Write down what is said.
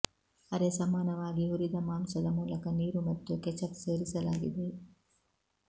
ಅರೆ ಸಮಾನವಾಗಿ ಹುರಿದ ಮಾಂಸದ ಮೂಲಕ ನೀರು ಮತ್ತು ಕೆಚಪ್ ಸೇರಿಸಲಾಗಿದೆ